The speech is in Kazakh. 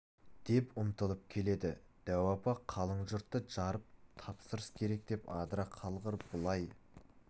деп ұмтылып келеді дәу апа қалың жұртты жарып тапсырыс керек деп адыра қалғыр былай